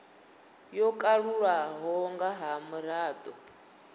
yo kalulaho nga ha mirado